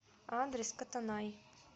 адрес котонай